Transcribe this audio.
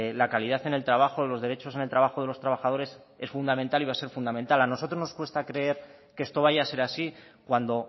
la calidad en el trabajo los derechos en el trabajo de los trabajadores es fundamental y va a ser fundamental a nosotros nos cuesta creer que esto vaya a ser así cuando